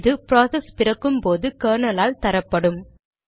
இது ப்ராசஸ் பிறக்கும்போது கெர்னல் ஆல் தரப்படும்